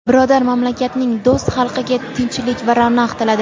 birodar mamlakatning do‘st xalqiga tinchlik va ravnaq tiladi.